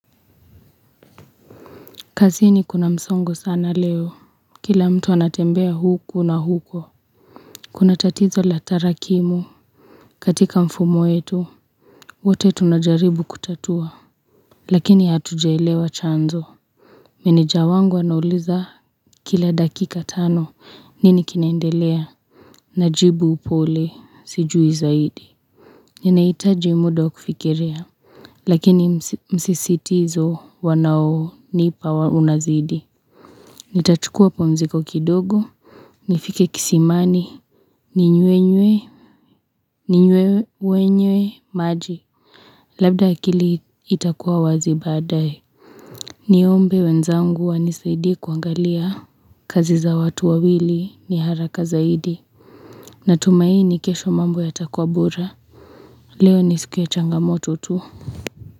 Kazini kuna msongo sana leo, kila mtu anatembea huku na huko. Kuna tatizo la tarakimu katika mfumo wetu wote tunajaribu kutatua, lakini hatujaelewa chanzo. Meneja wangu anauliza kila dakika tano nini kinaendelea. Najibu upole, sijui zaidi. Nina hitaji muda wa kufikiria, lakini msisitizo wanao nipa unazidi. Ntachukuwa pumziko kidogo, nifike kisimani, ni nywenywe, ni nywewe wenyewe, maji Labda akili itakuwa wazi baadaye ni ombe wenzangu wanisaidie kuangalia kazi za watu wawili ni haraka zaidi Natumaini kesho mambo ya takuwa bora Leo ni siku ya changamoto tu.